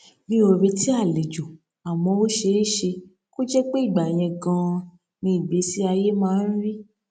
mi ò retí àlejò àmó ó ṣeé ṣe kó jé pé ìgbà yẹn ganan ni ìgbésí ayé máa ń rí